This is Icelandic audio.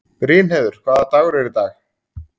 Brynheiður, hvaða dagur er í dag?